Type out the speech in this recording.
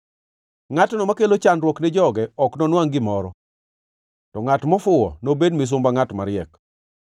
Ngʼatno makelo chandruok ni joge ok nonwangʼ gimoro, to ngʼat mofuwo nobed misumba ngʼat mariek.